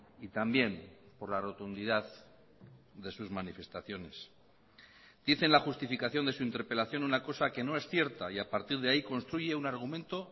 y también por la rotundidad de sus manifestaciones dice en la justificación de su interpelación una cosa que no es cierta y a partir de ahí construye un argumento